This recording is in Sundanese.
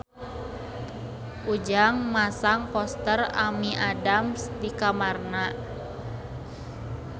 Ujang masang poster Amy Adams di kamarna